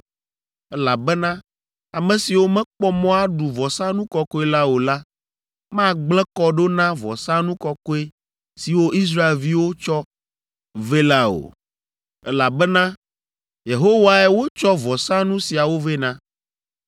elabena ame siwo mekpɔ mɔ aɖu vɔsanu kɔkɔe la o la magblẽ kɔ ɖo na vɔsanu kɔkɔe siwo Israelviwo tsɔ vɛ la o, elabena Yehowae wotsɔ vɔsanu siawo vɛ na.